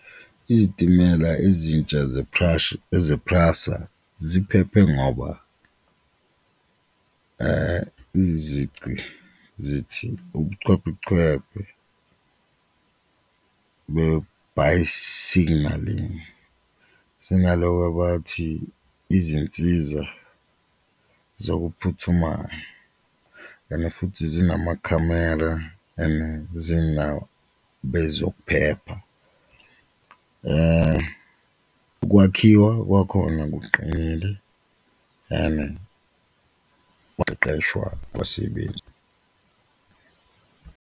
Izitimela ezintsha eze-PRASA ziphephe ngoba izici zithi be-bi-signalling zinaloko abathi izinsiza zokuphuthumayo ene futhi zinamakhamera, bezokuphepha ukwakhiwa kwakhona kuqinile and ukuqeqesha abasebenzi.